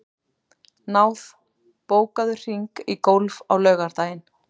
Náð, bókaðu hring í golf á laugardaginn.